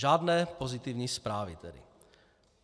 Žádné pozitivní zprávy tedy.